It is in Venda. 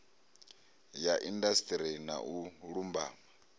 ya indasiṱeri na u lumbama